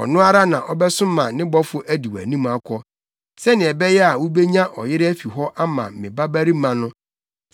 ɔno ara na ɔbɛsoma ne bɔfo adi wʼanim akɔ, sɛnea ɛbɛyɛ a wubenya ɔyere afi hɔ ama me babarima no.